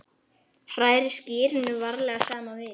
Hrærið skyrinu varlega saman við.